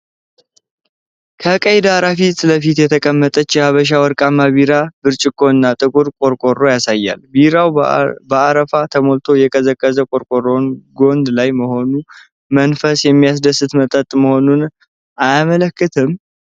ከቀይ ዳራ ፊት ለፊት የተቀመጠ የሐበሻ ወርቃማ ቢራ ብርጭቆና ጥቁር ቆርቆሮ ያሳያል፤ ቢራው በአረፋ ተሞልቶ የቀዘቀዘ ቆርቆሮው ጎን ላይ መሆኑ መንፈስ የሚያድስ መጠጥ መሆኑን አያመለክትም?